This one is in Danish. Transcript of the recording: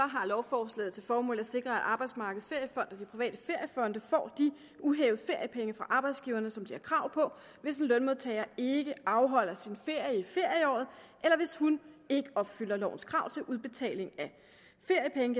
har lovforslaget til formål at sikre at arbejdsmarkedets feriefond og de private feriefonde får de uhævede feriepenge fra arbejdsgiverne som de har krav på hvis en lønmodtager ikke afholder sin ferie i ferieåret eller hvis hun ikke opfylder lovens krav til udbetaling af feriepenge